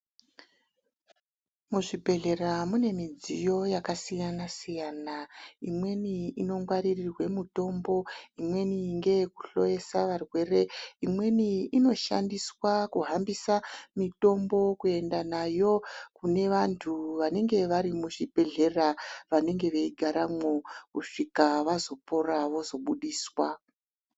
Muzvibhedhlera mune midziyo yakasiyana-siyana. Imweni inongwaririrwe mutombo, imweni ngeyekuhloyesa varwere. Imweni inoshandiswa kuhambisa mitombo kuenda nayo kune vantu vanenge vari muzvibhedhlera vanenge veigaramwo, kusvika vazopora vozobudiswa.